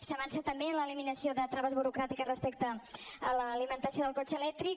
s’ha avançat també en l’eliminació de traves burocràtiques respecte a l’alimentació del cotxe elèctric